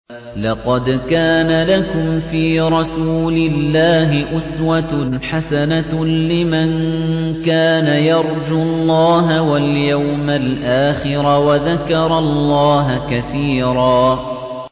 لَّقَدْ كَانَ لَكُمْ فِي رَسُولِ اللَّهِ أُسْوَةٌ حَسَنَةٌ لِّمَن كَانَ يَرْجُو اللَّهَ وَالْيَوْمَ الْآخِرَ وَذَكَرَ اللَّهَ كَثِيرًا